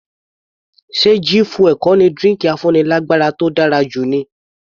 Ṣe G fuel kò ní drinki afúnilágbára tó dára jù ni?